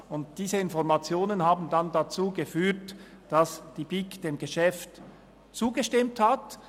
Diese Informationen führten dazu, dass die BiK dem Geschäft zugestimmt hat.